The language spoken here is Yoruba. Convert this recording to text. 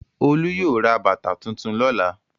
Olú yóò ra bàtà tuntun lọ́la.